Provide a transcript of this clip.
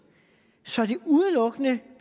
så det udelukkende